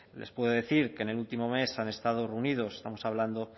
les puedo decir que en el último mes han estado reunidos estamos hablando